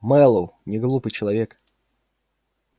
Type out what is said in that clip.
мэллоу неглупый человек